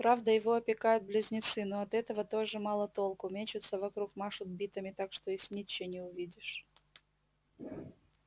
правда его опекают близнецы но от этого тоже мало толку мечутся вокруг машут битами так что и снитча не увидишь